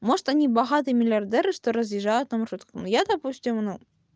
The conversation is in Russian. может они богатые миллиардеры что разъезжают на маршрутках но я допустим ну